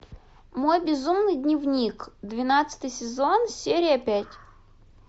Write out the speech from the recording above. мой безумный дневник двенадцатый сезон серия пять